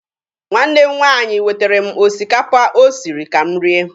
Nwanne m nwaanyị wetere m osikapa o siri ka m rie.